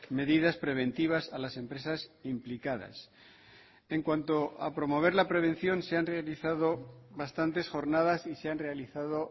medidas preventivas a las empresas implicadas en cuanto a promover la prevención se han realizado bastantes jornadas y se han realizado